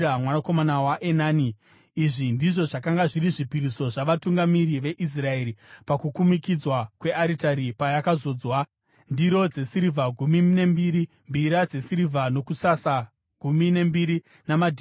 Izvi ndizvo zvakanga zviri zvipiriso zvavatungamiri veIsraeri pakukumikidzwa kwearitari payakazodzwa; ndiro dzesirivha gumi nembiri, mbiya dzesirivha dzokusasa gumi nembiri namadhishi egoridhe gumi namaviri.